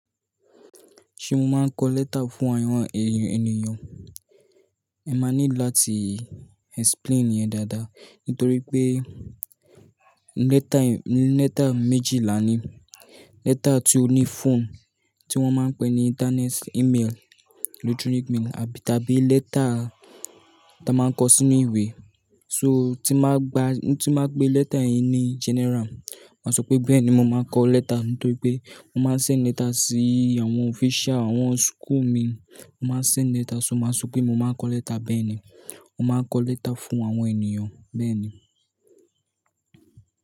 Ṣé mo máa ń kọ lẹ́tà fún àwọn ènìyàn? Ẹ máa ní láti explain yẹn dáadáa. Nítorí pé lẹ́tà méjì láni, lẹ́tà tí ó ní phone tí wọ́n máa pè ní internet email, electronic mail àbí tàbí lẹ́tà tí a máa ń kọ sínú ìwé. So tí máa gba, tí máa pe lẹ́tà yẹn ní general, máa sọ pé bẹ́ẹ̀ ni mo máa ń kọ lẹ́tà. Nítorí pé mo máa ń ṣẹ lẹ́tà sí àwọn official àwọn school mi, mo máa ń ṣẹ lẹ́tà, ṣo ma sọ pé mo máa ń kọ lẹ́tà bẹ́ẹ̀ ni, mo máa ń kọ lẹ́tà fún àwọn ènìyàn bẹ́ẹ̀ ni.